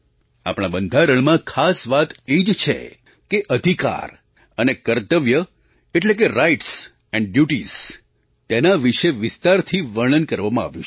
આપણા બંધારણમાં ખાસ વાત એ જ છે કે અધિકાર અને કર્તવ્ય એટલે કે રાઇટ્સ અને ડ્યુટીઝ તેના વિશે વિસ્તારથી વર્ણન કરવામાં આવ્યું છે